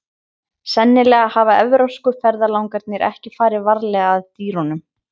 Sennilega hafa evrópsku ferðalangarnir ekki farið varlega að dýrunum.